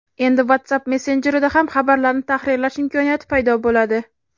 Endi WhatsApp messenjerida ham xabarlarni tahrirlash imkoniyati paydo bo‘ladi.